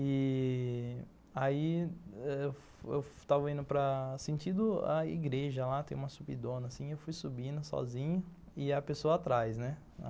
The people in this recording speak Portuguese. E aí eu estava indo para... sentido a igreja lá, tem uma subidona assim, eu fui subindo sozinho e a pessoa atrás, né?